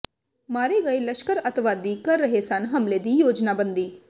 ਮਾਰੇ ਗਏ ਲਸ਼ਕਰ ਅੱਤਵਾਦੀ ਕਰ ਰਹੇ ਸਨ ਹਮਲੇ ਦੀ ਯੋਜਨਾਬੰਦੀ